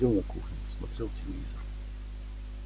сидел на кухне смотрел телевизор